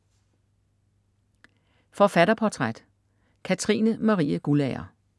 Forfatterportræt: Katrine Marie Guldager